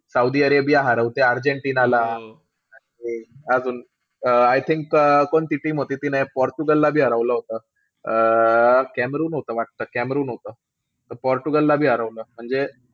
Saudi Arabia हरवतेय अर्जेन्टिनाला. आणि अजून I think अं कोणती team होती तिने पोर्तुगलला हरवलं होतं. अं कॅमेरून होतं वाटतं, कॅमेरून होतं. त पोर्तुगलला बी हरवलं म्हणजे,